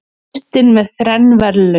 Kristinn með þrenn verðlaun